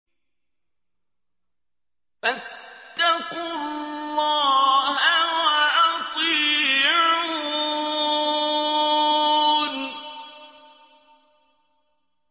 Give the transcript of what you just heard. فَاتَّقُوا اللَّهَ وَأَطِيعُونِ